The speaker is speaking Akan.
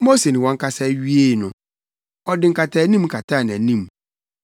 Mose ne wɔn kasa wiee no, ɔde nkataanim kataa nʼanim,